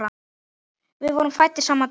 Við vorum fæddir sama dag.